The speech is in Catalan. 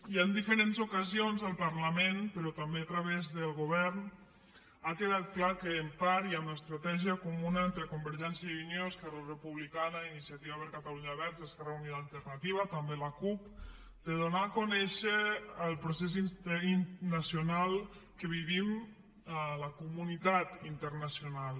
ja en diferents ocasions al parlament però també a través del govern ha quedat clar que en part hi ha una estratègia comuna entre convergència i unió esquerra republicana iniciativa per catalunya verds esquerra unida i alternativa també la cup de donar a conèixer el procés nacional que vivim a la comunitat internacional